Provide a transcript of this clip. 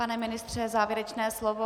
Pane ministře, závěrečné slovo.